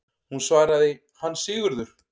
Hún svaraði: Hann Sigurður!